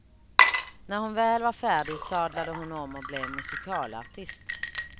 När hon väl var färdig, sadlade hon om och blev musikalartist.